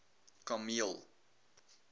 kameel